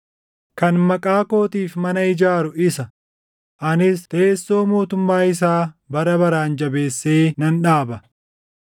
Kan maqaa kootiif mana ijaaru isa; anis teessoo mootummaa isaa bara baraan jabeessee nan dhaaba.